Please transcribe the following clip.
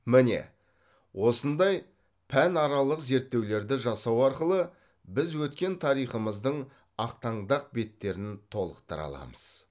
міне осындай пәнаралық зерттеулерді жасау арқылы біз өткен тарихымыздың ақтаңдақ беттерін толықтыра аламыз